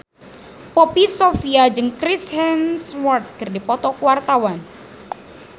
Poppy Sovia jeung Chris Hemsworth keur dipoto ku wartawan